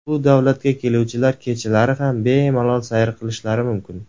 Bu davlatga keluvchilar kechalari ham bemalol sayr qilishlari mumkin.